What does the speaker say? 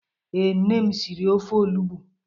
Ee, nne m siri ofe onugbu.